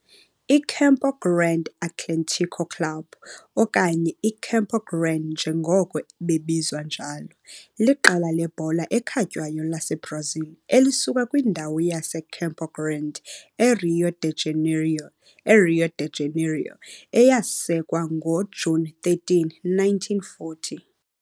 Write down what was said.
I-Campo Grande Atlético Clube, okanye iCampo Grande njengoko bebizwa njalo, liqela lebhola ekhatywayo laseBrazil elisuka kwindawo yaseCampo Grande, eRio de Janeiro eRio de Janeiro, eyasekwa ngoJuni 13, 1940.